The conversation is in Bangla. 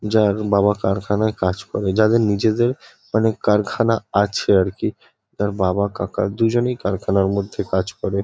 যার বাবা কারখানায় কাজ করে। যাদের নিজেদের মানে কারখানা আছে আরকি। তার বাবা কাকা দুজনেই কারখানার মধ্যে কাজ করে।